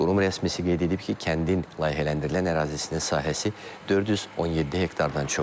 Qurum rəsmisi qeyd edib ki, kəndin layihələndirilən ərazisinin sahəsi 417 hektardan çoxdur.